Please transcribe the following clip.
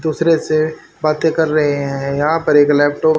दूसरे से बाते कर रहे है यहां पर एक लैपटॉप --